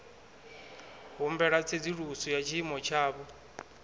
humbela tsedzuluso ya tshiimo tshavho